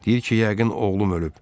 Deyir ki, yəqin oğlum ölüb.